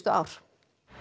ár